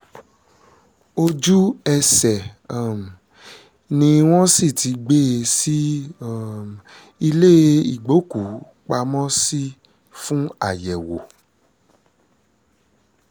ojú-ẹsẹ̀ um ni wọ́n sì ti gbé e sí um ilé ìgbókùú-pamọ́ sí fún àyẹ̀wò